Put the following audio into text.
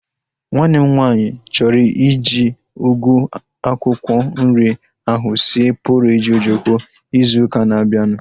Nwanne m nwaanyị chọrọ iji ugu akwụkwọ nri ahu sie pọreji ojoko ịzụ ụka na-abianu